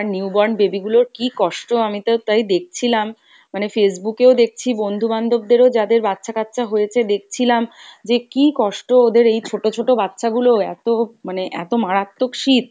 আর new born baby গুলোর কী কষ্ট আমি তো তাই দেখছিলাম, মানে Facebook এও দেখছি বন্ধু বান্ধব দেরও যাদের বাচ্চা কাচ্চা হয়েছে দেখছিলাম যে কী কষ্ট ওদের এই ছোটো ছোটো বাচ্চা গুলো এতো মানে এতো মারাত্মক শীত,